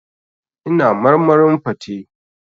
Ina marmarin fate.